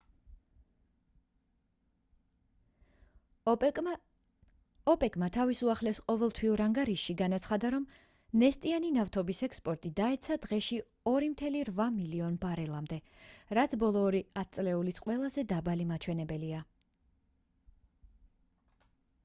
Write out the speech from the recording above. ოპეკმა თავის უახლეს ყოველთვიურ ანგარიშში განაცხადა რომ ნესტიანი ნავთობის ექსპორტი დაეცა დღეში 2,8 მილიონ ბარელამდე რაც ბოლო ორი ათწლეულის ყველაზე დაბალი მჩვენებელია